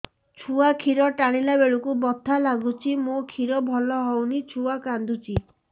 ଛୁଆ ଖିର ଟାଣିଲା ବେଳକୁ ବଥା ଲାଗୁଚି ମା ଖିର ଭଲ ହଉନି ଛୁଆ କାନ୍ଦୁଚି